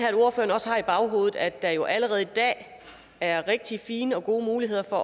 at ordføreren også har i baghovedet at der jo allerede i dag er rigtig fine og gode muligheder for